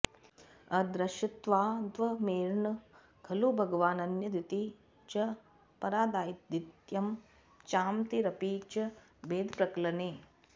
अदृश्यत्वाद्धर्मैर्न खलु भगवानन्यदिति च परादादित्यं चामतिरपि च भेदप्रकलने